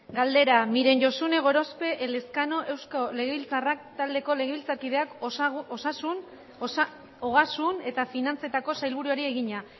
galdera miren josune gorospe elezkano euzko abertzaleak taldeko legebiltzarkideak ogasun eta finantzetako sailburuari egina